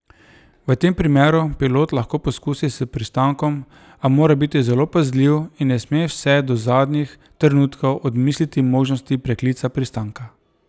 V tem primeru pilot lahko poskusi s pristankom, a mora biti zelo pazljiv in ne sme vse do zadnjih trenutkov odmisliti možnosti preklica pristanka.